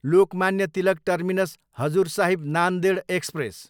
Lokmanya Tilak terminus, Hazur Sahib Nanded express